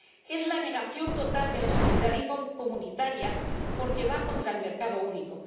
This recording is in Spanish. es la negación total de la solidaridad comunitaria, porque va contra el mercado único